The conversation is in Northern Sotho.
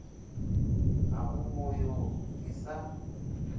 ga go boyo ke sa